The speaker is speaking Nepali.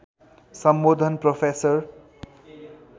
सम्बोधन प्रोफेसर